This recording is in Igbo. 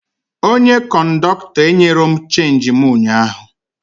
Onye kọndọktọ enyerọ m chenji mụ ụnyaahụ